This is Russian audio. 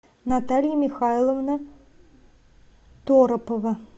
наталья михайловна торопова